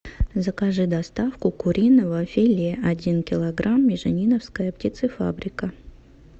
закажи доставку куриного филе один килограмм межениновская птицефабрика